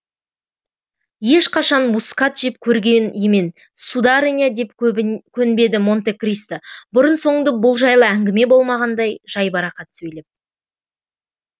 ешқашан мускат жеп көрген емен сударыня деп көнбеді монте кристо бұрын соңды бұл жайлы әңгіме болмағандай жайбарақат сөйлеп